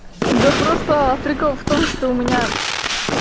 да просто прикол в том что у меня